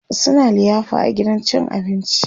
suna liyafa a gidan cin abinci